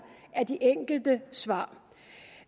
af de enkelte svar